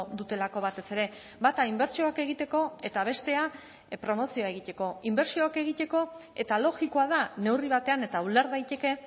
dutelako batez ere bata inbertsioak egiteko eta bestea promozioa egiteko inbertsioak egiteko eta logikoa da neurri batean eta uler daiteke